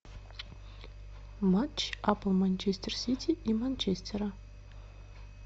матч апл манчестер сити и манчестера